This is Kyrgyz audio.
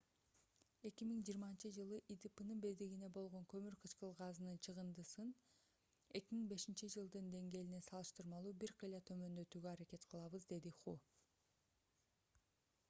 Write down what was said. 2020-жылы идпнын бирдигине болгон көмүр кычкыл газынын чыгындысын 2005-жылдын деңгээлине салыштырмалуу бир кыйла төмөндөтүүгө аракет кылабыз деди ху